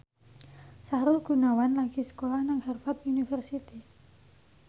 Sahrul Gunawan lagi sekolah nang Harvard university